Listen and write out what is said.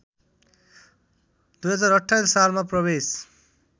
२०२८ सालमा प्रवेश